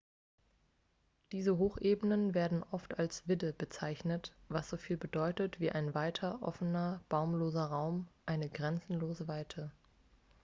diese hochebenen werden oft als vidde bezeichnet was soviel bedeutet wie ein weiter offener baumloser raum eine grenzenlose weite